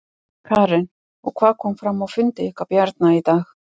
Karen: Og hvað kom fram á fundi ykkar Bjarna í dag?